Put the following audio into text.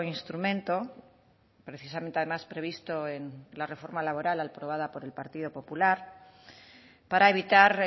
instrumento precisamente además previsto en la reforma laboral aprobada por el partido popular para evitar